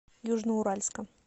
южноуральска